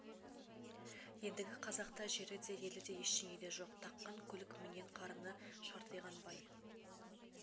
ендігі қазақта жері де елі де ештеңе де жоқ таққан көлік мінген қарыны шартиған бай